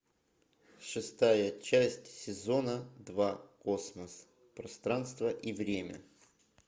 шестая часть сезона два космос пространство и время